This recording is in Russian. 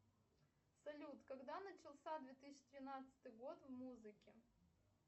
салют когда начался две тысячи тринадцатый год в музыке